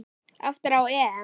Aftur á EM.